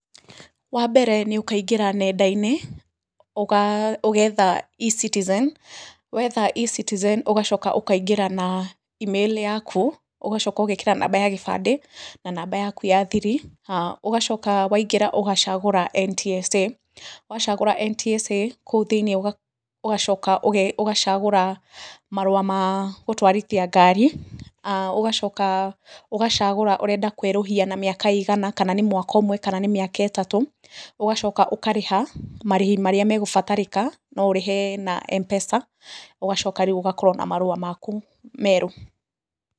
Wambere nĩũkaingĩra nendainĩ, ũgetha Ecitizen, wetha Ecitizen ũgacoka ũkaingĩra na Email yaku ũgacoka ũgekĩra namba ya kĩbande na namba yaku ya thiri, ũgacoka waingĩra ũgacagũra NTSA, wacagũra NTSA, kũu thĩinĩ ũgacoka ũgacagũra marũa ma gũtwarithia ngari, ũgacoka ũgacagũra ũrenda kwerũhia na mĩaka igana kana nĩ mwaka ũmwe kana nĩ mĩaka ĩtatũ, ũagacoka ũkarĩha marĩhi marĩa megũbatarĩka noũrĩhe na Mpesa ũgacoka rĩũ ũgakorwo na marũa maku merũ.